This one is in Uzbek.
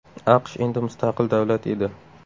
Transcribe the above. AQSh endi mustaqil davlat edi.